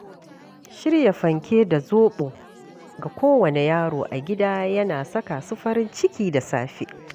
Shirya fanke da zoɓo ga kowane yaro a gida yana saka su farin ciki da safe.